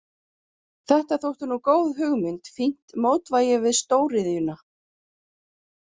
Þetta þótti nú góð hugmynd, fínt mótvægi við stór iðjuna.